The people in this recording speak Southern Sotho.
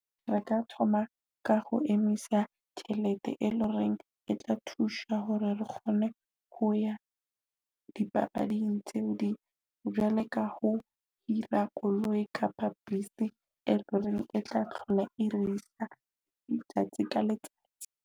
Re ka thoma ka ho emisa tjhelete e loreng e tla thusa hore re kgone ho ya di papading tseo di jwale ka ho hira koloi kapa bese e loreng e tla hlola e risa letsatsi ka letsatsi.